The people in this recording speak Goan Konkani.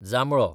जांबळो